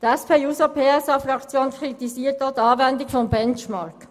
Die SP-JUSO-PSA-Fraktion kritisiert auch die Anwendung des Benchmarks.